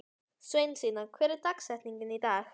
Sveinsína, hver er dagsetningin í dag?